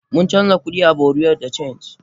Mun canja kudi a bureau de change.